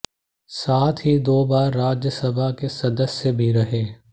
साथ ही दो बार राज्यसभा के सदस्य भी रहे